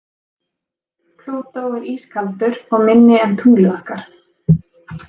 Plútó er ískaldur og minni en tunglið okkar.